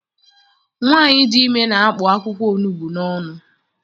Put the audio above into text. Nwaanyị dị ime na-akpụ akwụkwọ onugbu n'ọnụ.